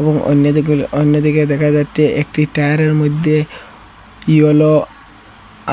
এবং অন্যদিকগুলো অন্যদিকে দেখা যাচ্ছে একটি টায়ারের মধ্যে ইয়োলো